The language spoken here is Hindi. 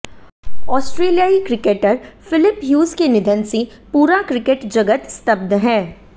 ऑस्ट्रेलियाई क्रिकेटर फिलिप ह्यूज के निधन से पूरा क्रिकेट जगत स्तब्ध है